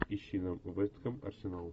ищи нам вест хэм арсенал